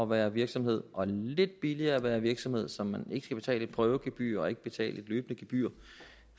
være virksomhed og lidt billigere at være virksomhed så man ikke skal betale prøvegebyr og ikke skal betale et løbende gebyr